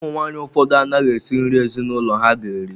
Ụmụ nwaanyị ụfọdụ anaghị esị nri ezinụlọ ha ga-eri.